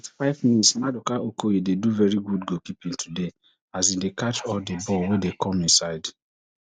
fifty-five mins maduka okoye dey do veri good goalkeeping tuday as e dey catch all di ball wey come im side